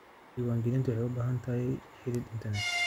Diiwaangelintu waxay u baahan tahay xidhiidh internet